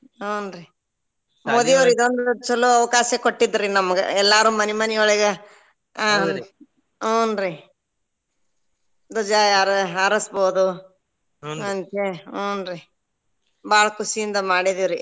ಹುಂ ರೀ ಮೋದಿಯವ್ರ ಇದೊಂದ ಚೊಲೋ ಅವಕಾಶ ಕೊಟ್ಟಿದ್ರಿ ನಮಗ ಎಲ್ಲಾರು ಮನಿ ಮನಿಯೊಳಗ ಹುಂ ರೀ ದ್ವಜ ಹಾ~ ಹಾರಿಸಬಹುದು ಅಂತ ಹೇಳಿ ಹುಂ ರೀ ಬಾಳ ಖುಷಿಯಿಂದ ಮಾಡಿದೀವ್ರಿ.